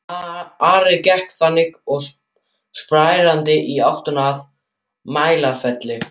Ari gekk þangað og sprændi í áttina að Mælifelli.